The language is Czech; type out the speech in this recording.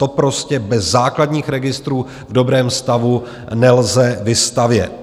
To prostě bez základních registrů v dobrém stavu nelze vystavět.